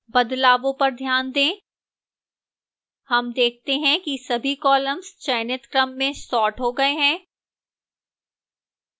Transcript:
बदलावों पर ध्यान दें हम देखते हैं कि सभी कॉलम्स चयनित क्रम में सॉर्ट हो गए हैं